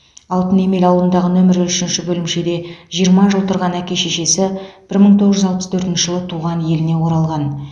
алтынемел ауылындағы нөмірі үшінші бөлімшеде жиырма жыл тұрған әке шешесі бір мың тоғыз жүз алпыс төртінші жылы туған еліне оралған